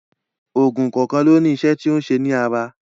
Oògùn kọ̀ọ̀kan ló ní iṣẹ́ tí ó ń ṣe ní ara.